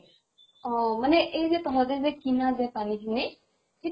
অহ মানে এই যে তহঁতে যে কিনা যে পানী খিনি সিটো